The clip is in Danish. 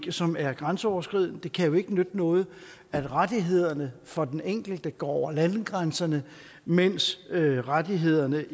som er grænseoverskridende det kan jo ikke nytte noget at rettighederne for den enkelte går over landegrænserne mens rettighederne